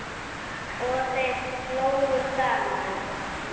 Og þeir hlógu saman.